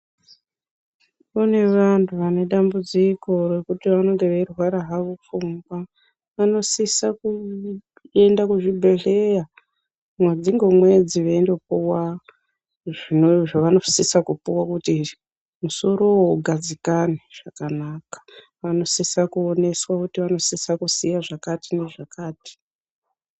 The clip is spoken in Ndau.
Kune vantu vane dambudziko refuting vanenge veirwara havo nepfungwa vanosisa kuenda kuzvibhedhlera mwedzi nge mwedzi veinopuwa zvavanosisa kupuwa kuti musorowo ugadzikane zvakanaka. Vanosisa kuoneswa kuti vanosisa kuziva zvakati zvakati.